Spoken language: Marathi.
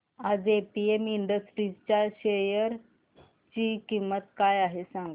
आज एपीएम इंडस्ट्रीज च्या शेअर ची किंमत काय आहे सांगा